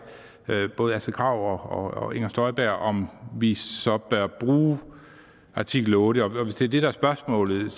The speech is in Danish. både astrid krag og inger støjberg om vi så bør bruge artikel otte og hvis det er det der er spørgsmålet